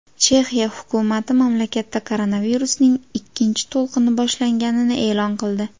Chexiya hukumati mamlakatda koronavirusning ikkinchi to‘lqini boshlanganini e’lon qildi.